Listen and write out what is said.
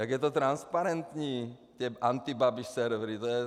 Jak je to transparentní, ty antibabiš servery.